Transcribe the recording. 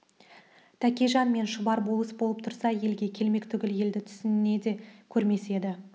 тәкежан мен шұбар болыс болып тұрса елге келмек түгіл елді түсінде де көрмес еді